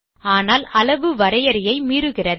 ஆனால் அளவு வரையறையை மீறுகிறது